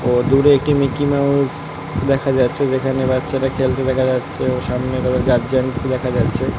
দূরে একটি meeting house দেখা যাচ্ছে। যেখানে বাচ্চারা খেলতে দেখা যাচ্ছে। সামনে একটি দেখা যাচ্ছে